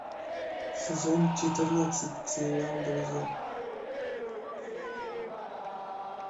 сезон четырнадцать сериал друзья